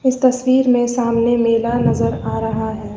इस तस्वीर मे सामने मेला नजर आ रहा है।